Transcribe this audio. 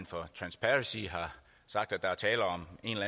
for transparency har sagt at der er tale om